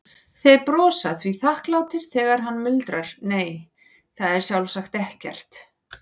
Þeir brosa því þakklátir þegar hann muldrar, nei, það er sjálfsagt ekkert.